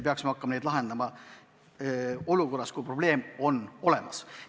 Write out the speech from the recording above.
Oleks hilja hakata neid lahendama olukorras, kui probleem on juba olemas.